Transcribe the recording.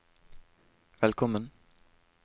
velkommen